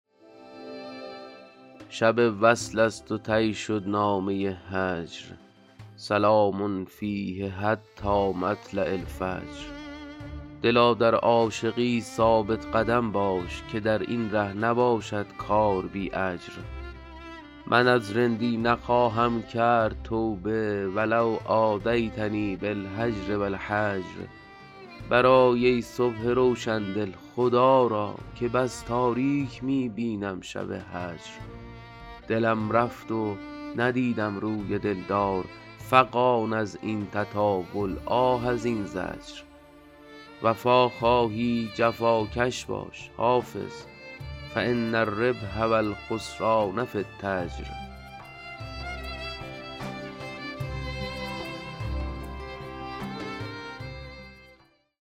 شب وصل است و طی شد نامه هجر سلام فیه حتی مطلع الفجر دلا در عاشقی ثابت قدم باش که در این ره نباشد کار بی اجر من از رندی نخواهم کرد توبه و لو آذیتنی بالهجر و الحجر برآی ای صبح روشن دل خدا را که بس تاریک می بینم شب هجر دلم رفت و ندیدم روی دل دار فغان از این تطاول آه از این زجر وفا خواهی جفاکش باش حافظ فان الربح و الخسران في التجر